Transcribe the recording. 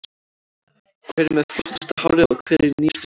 Hver er með flottasta hárið og hver er í nýjustu skónum?